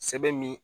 Sɛbɛn min